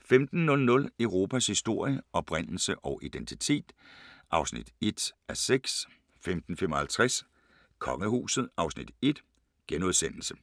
15:00: Europas historie – oprindelse og identitet (1:6) 15:55: Kongehuset (Afs. 1)*